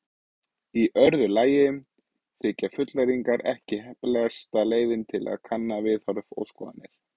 Í öðru lagi þykja fullyrðingar ekki heppilegasta leiðin til að kanna viðhorf og skoðanir.